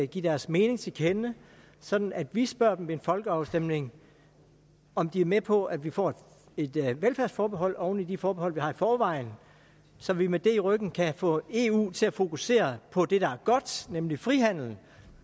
give deres mening til kende sådan at vi spørger dem ved en folkeafstemning om de er med på at vi får et velfærdsforbehold oven i de forbehold vi har i forvejen så vi med det i ryggen kan få eu til at fokusere på det der er godt nemlig frihandel